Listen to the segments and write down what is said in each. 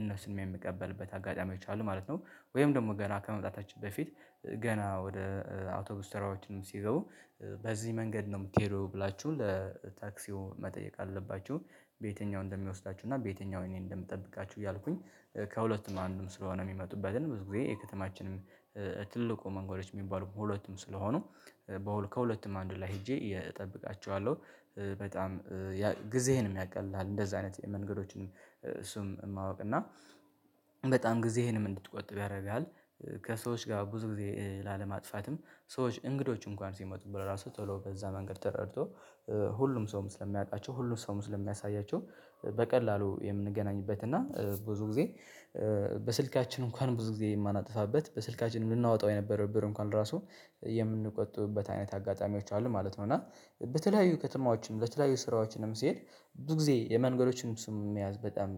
እነሱንም የምቀበልበት አጋጣሚዎች አሉ ማለት ነው። ወይም ደግሞ ገና ከመምጣታችን በፊት ገና ወደ አውቶብስ ተራዎችም ሲገቡ በዚህ መንገድ ነው የሚትሄደው ወይ ብላችሁ ለታክሲው መጠየቅ አለባችሁ። በየትኛው እንደሚወስዳችሁ እና በየትኛው እኔ እንደምጠብቃችሁ እያልኩኝ ከሁለቱም በአንዱም ስለሆነ የሚመጡበትን ብዙ ጊዜ የከተማችንም ትልቁ መንገዶች የሚባሉ ሁለቱም ስለሆኑ ከሁለቱም አንዱ ላይ ሄጄ እጠብቃቸዋለሁ። በጣም ጊዜህንም ያቀልልሃል እንደዛ አይነት መንገዶችን እሱም ማወቅ እና በጣም ጊዜህንም እንድትቆጥብ ያደርጋል። ከሰዎች ጋር ብዙ ጊዜ ላለማጥፋትም ሰዎች እንግዶች እንኳን ሲመጡ ራሱ ቶሎ በዛ መንገድ ተረድቶ ሁሉም ሰውም ስለሚያውቃቸው ሁሉም ሰው ስለሚያሳያቸው በቀላሉ የምንገናኝበት እና ብዙ ጊዜ በስልካችን እንኳን ብዙ ጊዜ የማናጥፋበት በስልካችን ልናወጣው የነበረብን ብር እንኳን ራሱ የምንቆጥብበት አይነት አጋጣሚዎች አሉ ማለት ነው። እና በተለያዩ ከትማዎችም ለተለያዩ ስራዎችንም ሲሄድ ብዙ ጊዜ የመንገዶችን ስም መያዝ በጣም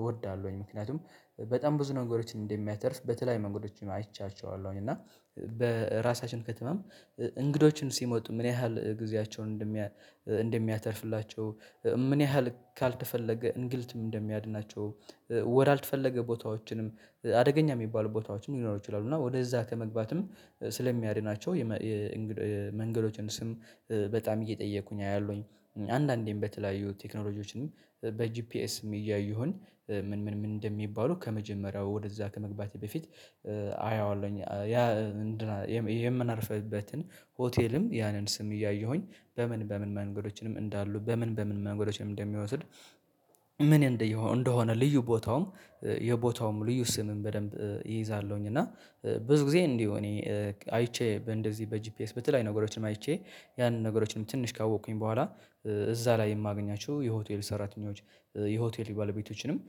እወዳለሁኝ። ምክንያቱም በጣም ብዙ ነገሮችን እንደሚያተርፍ በተለይ መንገዶችን አይቻቸዋለሁኝ እና በራሳችን ከተማም እንግዶችን ሲመጡ ምን ያህል ጊዜያቸውን እንደሚያተርፍላቸው ምን ያህል ካልተፈለገ እንግልትም እንደሚያድናቸው ወዳልተፈለገ ቦታዎችንም አደገኛ የሚባሉ ቦታዎችንም ሊኖሩ ይችላሉ እና ወደዛ ከመግባትም ስለሚያድናቸው። መንገዶችን ስም በጣም እየጠየኩኝ አያለሁኝ አንዳንዴም በተለያዩ ቴክኖሎጂዎችንም በጂፒኤስም እያየሁኝ ምን ምን ምን እንደሚባሉ ከመጀመሪያው ወደዛ ከመግባቴ በፊት አየዋለሁኝ። ያ የምናርፍበትን ሆቴልም ያንን ስም እያየሁኝ በምን በምን መንገዶችንም እንዳሉ በምን በምን መንገዶችንም እንደሚወስድ ምን እንደሆነ ልዩ ቦታውም የቦታውም ልዩ ስምም በደንብ እይዛለሁኝ እና ብዙ ጊዜ እንዲሁ እኔ አይቼ እንደዚህ በጂፒኤስ በተለያዩ ነገሮችም አይቼ ያንን ነገሮችንም ትንሽ ካወቅኩኝ በኋላ እዛ ላይ የማገኛቸው የሆቴል ሰራተኞች የሆቴል ባለቤቶችንም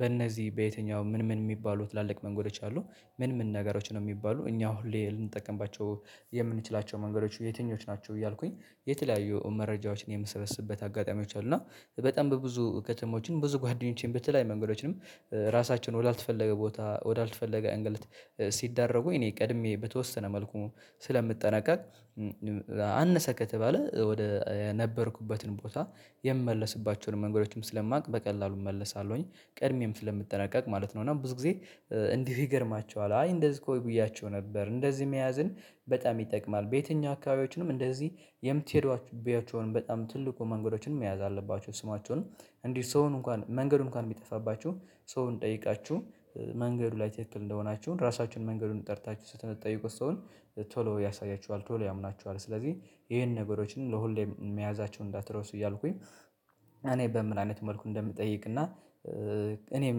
በእነዚህ በየትኛው ምን ምን የሚባሉ ትላልቅ መንገዶች አሉ። ምን ምን ነገሮች ነው የሚባሉ እኛ ሁሌ ልንጠቀምባቸው የምንችላቸው መንገዶች የትኞች ናቸው? እያልኩኝ የተለያዩ መረጃዎችን የምሰበስብበት አጋጣሚዎች አሉ። እና በጣም በብዙ ከተሞችን ብዙ ጓደኞቼን በተለያዩ መንገዶችንም ራሳችን ወዳልተፈለገ ቦታ ወዳልተፈለገ እንግልት ሲዳረጉ እኔ ቀድሜ በተወሰነ መልኩ ስለምትጠነቀቅ። አነሰ ከተባለ ወደ የነበርኩበትን ቦታ የምመለስባቸውን መንገዶችም ስለማውቅ በቀላሉ እመለሳለሁኝ ቀድሜም ስለምትጠነቀቅ ማለት ነው። እና ብዙ ጊዜ እንዲህ ይገርማችኋል አይ እንደዚህ እኮ ብያቸው ነበር እንደዚህ መያዝን በጣም ይጠቅማል። በየትኛው አካባቢዎችንም እንደዚህ የምትሄዷችሁቢያቸውን በጣም ትልቁ መንገዶችን መያዝ አለባችሁ ስማቸውን እንዲህ ሰውን እንኳን መንገዱን እንኳን የሚጠፋባችሁ ሰውን ጠይቃችሁ መንገዱ ላይ ትክክል እንደሆናችሁ ራሳችሁን መንገዱን ጠርታችሁ ስትጠይቁ ሰውን ቶሎ ያሳያችኋል። ቶሎ ያምናችኋል ስለዚህ እሄን ነገሮችን ለሁሌም መያዛቸውን እንዳትረሱ እያልኩኝ። እኔ በምን አይነት መልኩ እንደምጠይቅና? እኔም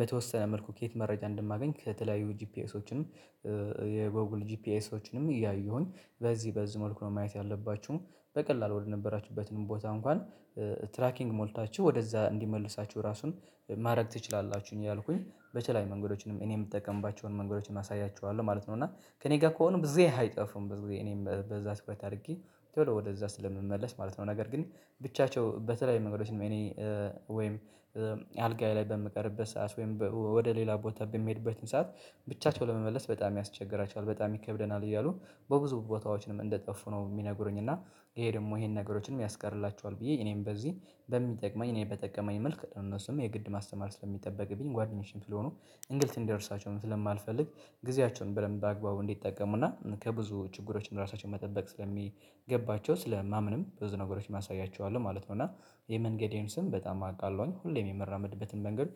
በተወሰነ መልኩ ከየት መረጃ እንደማገኝ ከተለያዩ ጂፒኤሶችም የጎግል ጂፒኤሶችንም እያየሁኝ በዚህ በዚህ መልኩ ነው ማየት ያለባችሁም። በቀላል ወደነበራችሁበትን ቦታ እንኳን ትራኪንግ ሞልታችሁ ወደዛ እንዲመልሳችሁ ራሱን ማድረግ ትችላላችሁኝ። ያልኩኝ በቸላይ መንገዶችንም እኔ የምጠቀምባቸውን መንገዶችንም አሳያችኋለሁ ማለት ነው። እና ከእኔ ጋር ከሆነ ብዙ ግዜ አይጠፉም ብዙ እኔም በዛ ስኩሌት አድርጌ ቶሎ ወደዛ ስለምመለስ ማለት ነው። ነገር ግን ብቻቸው በተለይ መንገዶችንም እኔ ወይም አልጋዬ ላይ በምቀርበት ሰዓት ወይም ወደ ሌላ ቦታ በሚሄድበትን ሰዓት ብቻቸው ለመመለስ በጣም ያስቸግራቸዋል በጣም ይከብደናል። እያሉ በብዙ ቦታዎችንም እንደጠፉ ነው የሚነግሩኝ። እና ይሄ ደግሞ ይሄን ነገሮችንም ያስቀርላቸዋል። ብዬ እኔም በዚህ በሚጠቅመኝ እኔ በጠቀመኝ መልኩ ነው እነሱም የግድ ማስተማር ስለሚጠበቅ ስለሚጠበቅብኝ ጓደኞችም ስለሆኑ እንግልት እንደርሳቸውም ስለማልፈልግ ጊዜያቸውን በደንብ አግባቡ እንዲጠቀሙና ከብዙ ችግሮች እራሳቸው መጠበቅ ስለሚገባቸው ስለማምንም ብዙ ነገሮችም አሳያቸውለሁ ማለት ነው። እና የመንገዴን ስም በጣም አውቃለሁኝ ሁሌም የምራመድበትን መንገድ